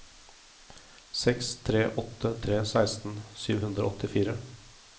seks tre åtte tre seksten sju hundre og åttifire